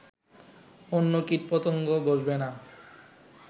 অন্য কীটপ্রত্যঙ্গ বসবে না